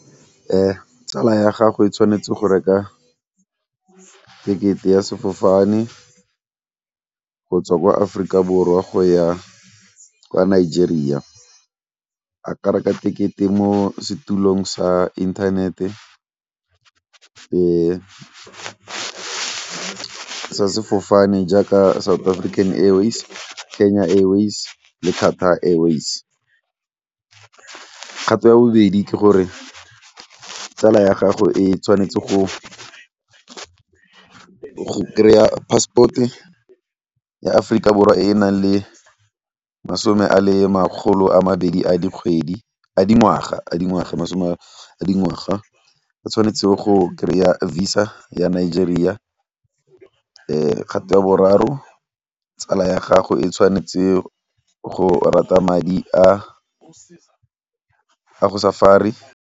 Tsala ya gago e tshwanetse go reka tekete ya sefofane go tswa ko Aforika Borwa go ya kwa Nigeria. A ka reka tekete mo setulong sa internet sa sefofane jaaka South African Airways, Kenya Airways, Airways. Kgato ya bobedi ke gore tsala ya gago e tshwanetse go kry-a passport ya Aforika Borwa e e nang le masome a le makgolo a mabedi a dingwaga a tshwanetseng go kry-a Visa ya Nigeria. Kgato ya boraro tsala ya gago e tshwanetse go rata madi a .